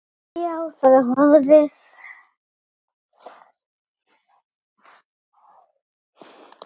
Já, það er horfið.